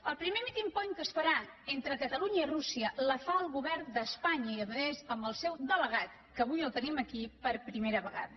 el primer meeting point que es farà entre catalunya i rússia el fa el govern d’espanya i a més amb el seu delegat que avui el tenim aquí per primera vegada